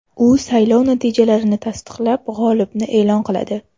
U saylov natijalarini tasdiqlab, g‘olibni e’lon qiladi.